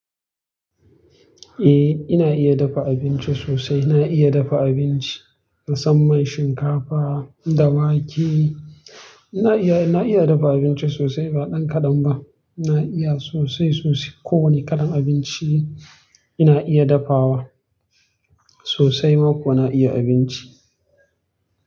Eh ina iya dafa abinci sosai. Na iya dafa abinci musamman shinkafa da wake. Ina iya, na iya dafa abinci sosai ba ɗan kaɗan ba. Ina iya sosai sosai. Ko wani kalan abinci ina iya dafawa sosai ma kuwa na iya abinci.